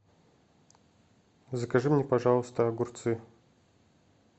закажи мне пожалуйста огурцы